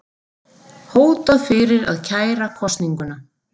Hótað fyrir að kæra kosninguna